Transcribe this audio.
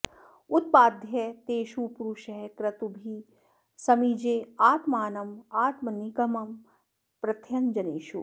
उत्पाद्य तेषु पुरुषः क्रतुभिः समीजे आत्मानमात्मनिगमं प्रथयन् जनेषु